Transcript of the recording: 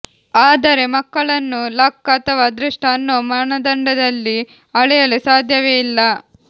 ಆದರೆ ಮಕ್ಕಳನ್ನು ಲಕ್ ಅಥವಾ ಅದೃಷ್ಟ ಅನ್ನೋ ಮಾನದಂಡದಲ್ಲಿ ಅಳೆಯಲು ಸಾಧ್ಯವೇ ಇಲ್ಲ